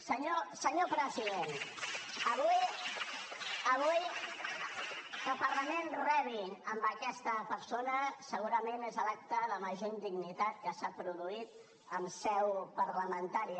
senyor president avui que el parlament rebi aquesta persona segurament és l’acte de major indignitat que s’ha produït en seu parlamentària